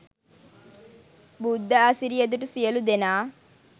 බුද්ධ අසිරිය දුටු සියලු දෙනා